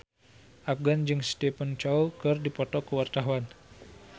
Afgan jeung Stephen Chow keur dipoto ku wartawan